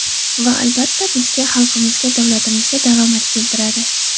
Va albatta, bizga, xalqimizga, davlatimizga daromad keltiradi.